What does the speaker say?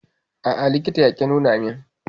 A'a, likitan ya ƙi nuna min.